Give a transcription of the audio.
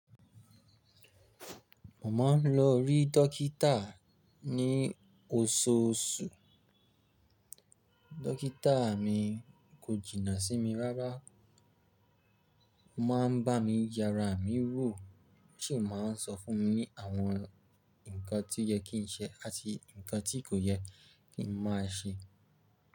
Mo máa ń lọ rí dókítà ní oṣooṣù. Dókítà mi kò jìnnà sí mi rárá, ó máa ń bá mi yára, mí wò, sì máa ń sọ fún mi ní àwọn nǹkan tí ó yẹ kí n ṣe àti nǹkan tí kò yẹ kí n má ṣe.